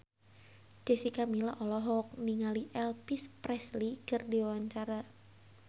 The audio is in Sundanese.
Jessica Milla olohok ningali Elvis Presley keur diwawancara